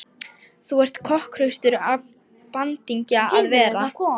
Þú ert kokhraustur af bandingja að vera.